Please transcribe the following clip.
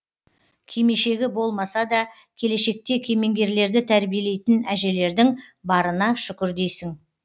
кимешегі болмаса да келешекте кемеңгерлерді тәрбиелейтін әжелердің барына шүкір дейсің